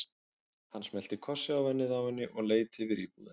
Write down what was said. Hann smellti kossi á ennið á henni og leit yfir íbúðina.